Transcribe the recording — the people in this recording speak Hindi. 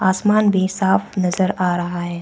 आसमान भी साफ नजर आ रहा है।